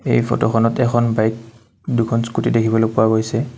এই ফটোখনত এখন বাইক দুখন স্কুটী দেখিবলৈ পোৱা গৈছে।